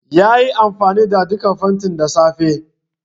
Yayi amfani da duka fentin da safe.